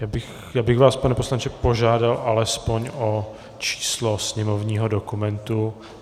Já bych vás, pane poslanče, požádal alespoň o číslo sněmovního dokumentu.